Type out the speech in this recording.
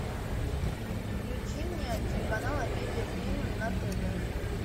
включи мне телеканал амедиа премиум на тв